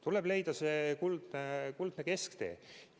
Tuleb leida kuldne kesktee.